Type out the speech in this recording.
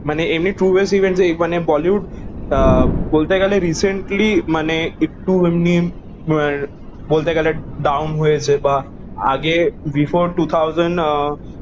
মানে এমনে ট্রু বেশ ইভেন্টস মানে বলিউড আহ বলতে গালে রিসেন্টলি মানে একটু বলতে গালে ডাউন হয়েছে বা আগে বিফোর টু থাওজেন্ড আহ